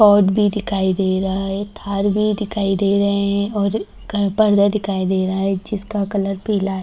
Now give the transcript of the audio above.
भी दिखाई दे रहा है थार भी दिखाई दे रहे हैं और घर पर्दा दिखाई दे रहा है जिसका कलर पीला है।